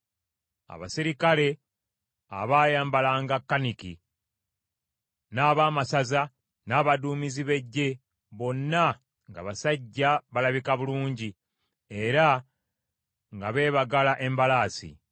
abaserikale abaayambalanga kaniki, n’abaamasaza, n’abaduumizi b’eggye, bonna nga basajja balabika bulungi era nga beebagala embalaasi.